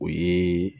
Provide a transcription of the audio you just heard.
O ye